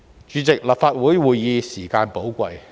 主席，立法會會議時間寶貴。